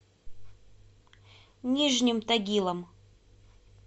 нижним тагилом